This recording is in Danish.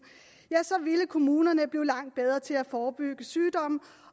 ville kommunerne blive langt bedre til at forebygge sygdom